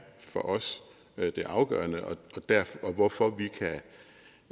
for os det afgørende hvorfor vi